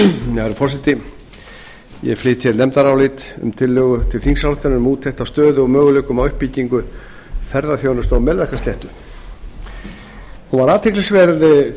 herra forseti ég flyt hér nefndarálit um tillögu til þingsályktunar um úttekt á stöðu og möguleikum á uppbyggingu ferðaþjónustu á melrakkasléttu hún var athyglisverð